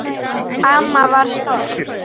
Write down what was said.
Amma var stolt.